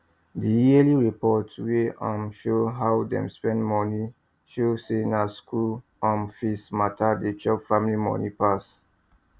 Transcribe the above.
the yearly report wey um show how them spend money show say na school um fees matter dey chop family money pass